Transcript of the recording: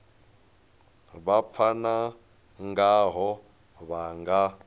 vha pfana ngaho vha nga